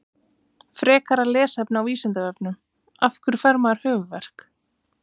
Frekara lesefni á Vísindavefnum: Af hverju fær maður höfuðverk?